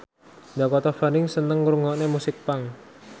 Dakota Fanning seneng ngrungokne musik punk